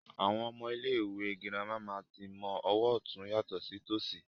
Àwọn ọmọ ilé ìwé gírámà máa tí ń mọ ọwọ otun yàtọ̀ sí tòṣì